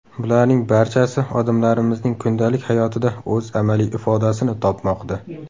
Bularning barchasi odamlarimizning kundalik hayotida o‘z amaliy ifodasini topmoqda.